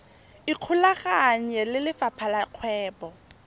ikgolaganye le lefapha la kgwebo